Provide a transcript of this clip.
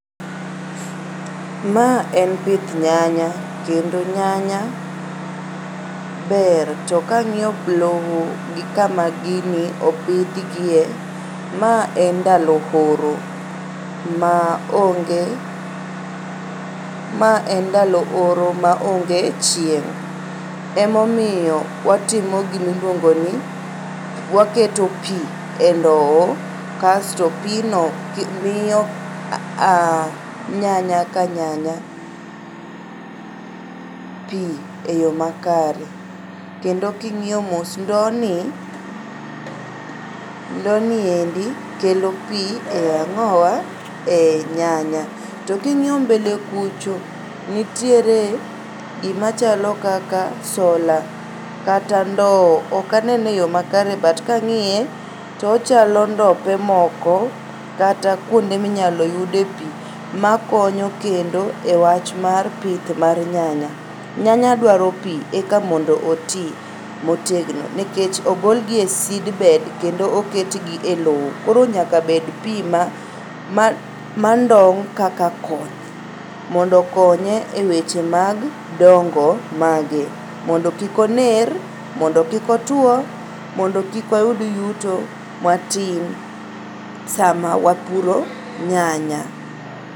Ma en pith nyanya kendo nyanya ber to kang'io lowo gi kama gini opidhgie ma en ndalo oro ma onge ,ma en ndalo oro maonge chieng'.Emomiyo watimo gimiluongoni, waketo pii e ndoo kasto pii no miyo nyanya ka nyanya pii e yoo makare kendo king'io mos ndoo ni, endi kelo pii e ang'owa,e nyanya. To king'iyo mbele kucho to nitiere gimachalo kaka solar kata ndo. Okanene e yoo makare but kang'iye tochalo ndope moko kata kuonde minyalo yude pii makonyo kendo e wach mar pith mar nyanya. Nyanya dwaro pii eka mondo otii motegno nekech ogolgi e seedbed kendo oketgi e loo koro nyaka bed pii mandong' kaka koth mondo okoonye e weche mag dongo mage mondo kik oner, mondo kik otuo mondo kik wayud yuto matin sama wapuro nyanya.